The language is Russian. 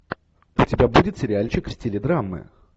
у тебя будет сериальчик в стиле драмы